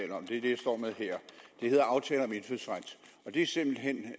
om er det jeg står med her det hedder aftale om indfødsret det er simpelt hen